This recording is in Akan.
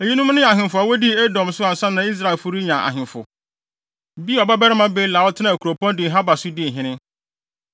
Eyinom ne ahemfo a wodii Edom so ansa na Israelfo renya ahemfo: Beor babarima Bela, a ɔtenaa kuropɔn Dinhaba so dii hene.